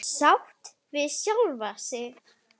Sátt við sjálfa sig.